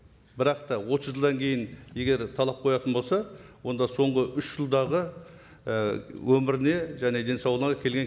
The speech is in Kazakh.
бірақ та отыз жылдан кейін егер талап қоятын болса онда соңғы үш жылдағы і өміріне және денсаулығына келген